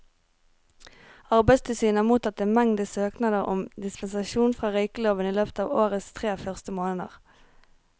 Arbeidstilsynet har mottatt en mengde søknader om dispensasjon fra røykeloven i løpet av årets tre første måneder.